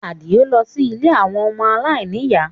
Adio lọ sí ilé àwọn ọmọ aláìníyàá